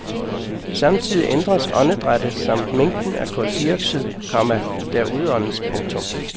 Samtidig ændres åndedrættet samt mængden af kuldioxid, komma der udåndes. punktum